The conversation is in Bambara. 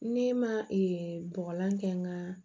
Ne ma bɔgɔlan kɛ n ka